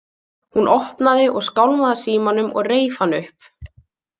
Hún opnaði og skálmaði að símanum og reif hann upp.